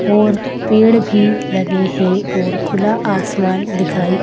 और पेड़ भी लगे हैं और खुला आसमान दिखाई --